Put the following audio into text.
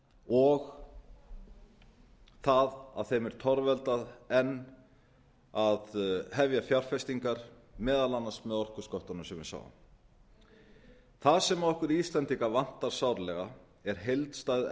og það að þeim er torveldað enn að hefja fjárfestingar meðal annars með orkusköttunum sem við sáum það sem okkur íslendinga vantar sárlega er heildstæð